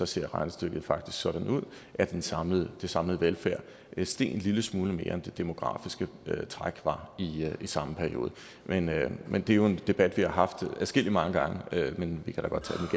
ser regnestykket faktisk sådan ud at den samlede samlede velfærd steg en lille smule mere end det demografiske træk var i samme periode men men det er jo en debat vi har haft mange gange men vi kan